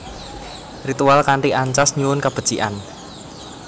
Ritual kanthi ancas nyuwun kabecikan